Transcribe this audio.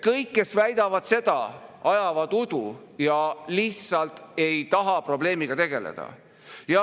Kõik, kes väidavad seda, ajavad udu ja lihtsalt ei taha probleemiga tegeleda.